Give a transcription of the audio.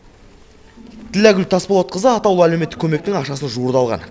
тілләгүл тасболатқызы атаулы әлеуметтік көмектің ақшасын жуырда алған